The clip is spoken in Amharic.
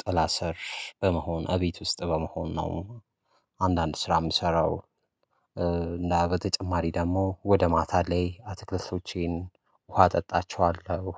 ጥላ ስር በመሆን እቤት ውስጥ በመሆን ነው። አንዳንድ ስራ እምሰራው። እና በተጨማሪ ደግሞ ወደ ማታ ላይ አትክልቶቼን ውሃ አጠጣቸዋለሁ።